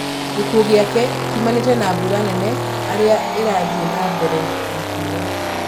gĩkuũ gĩake kĩũmanĩte na mbura nene arĩa ĩrathiĩ na mbere na kuura